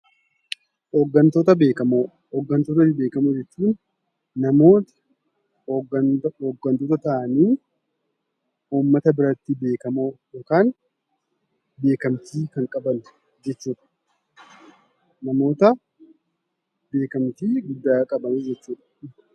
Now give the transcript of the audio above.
Hoggantoota beekamoo jechuun namoota hoggantoota ta'anii uummata biratti beekamoo ta'an yookiin beekamtii kan qaban jechuudha.